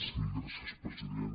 sí gràcies president